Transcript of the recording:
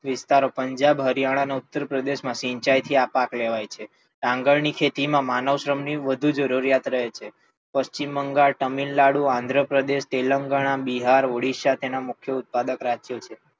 વિસ્તારો પણ જેમ હરિયાણા, ઉત્તર પ્રદેશ માં સિંચાઈ થી આ પાક લેવાય છે. ડાંગર ની ખેતી માં માનવ શ્રમ ની વધુ જરૂરિયાત રહે છે. પશ્ચિમ બંગાળ, તમિલનાડુ, આન્દ્રપ્રદેશ, તેલંગાણા, બિહાર, ઓડીસા તેના મુખ્ય ઉત્પાદક રાજ્યો છે.